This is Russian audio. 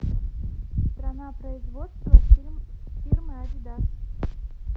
страна производства фирмы адидас